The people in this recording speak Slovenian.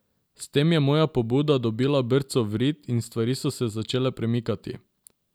S tem je moja pobuda dobila brco v rit in stvari so se začele premikati.